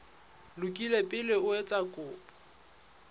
lokile pele o etsa kopo